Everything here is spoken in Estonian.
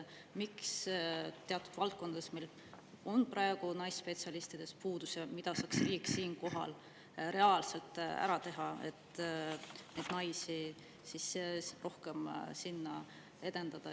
Miks meil teatud valdkondades on praegu naisspetsialistide puudus ja mida saaks riik siinkohal reaalselt ära teha, et neid naisi sinna rohkem tuleks?